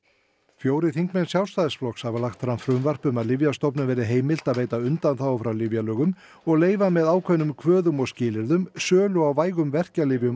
fjórir þingmenn Sjálfstæðisflokks hafa lagt fram frumvarp um að Lyfjastofnun verði heimilt að veita undaþágu frá lyfjalögum og leyfa með ákveðnum kvöðum og skilyrðum sölu á vægum verkjalyfjum